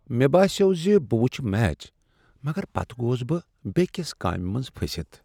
مےٚ باسیو زِ بہٕ وٕچھہ میچ مگر پتہٕ گوس بہٕ بیکِس کامِہ منٛز پھٔسِتھ۔